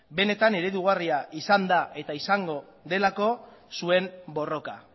benetan eredugarria izan da eta izango delako zuen borroka